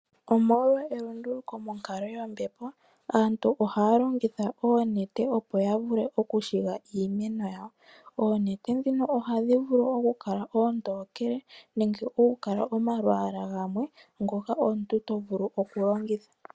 Omolwa elunduluko monkalo yombepo, aantu ohaya longitha oonete, opo ya vule okushiga iimeno yawo. Oonete ndhino ohadhi vulu kukala oontokele nenge okukala omalwaala gamwe ngoka omuntu to vulu okulongitha.